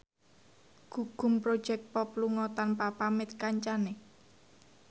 Gugum Project Pop lunga tanpa pamit kancane